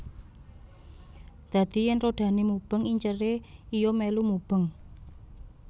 Dadi yèn rodhané mubeng inceré iya milu mubeng